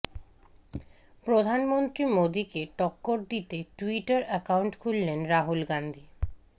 প্রধানমন্ত্রী মোদীকে টক্কর দিতে টুইটার অ্যাকাউন্ট খুললেন রাহুল গান্ধী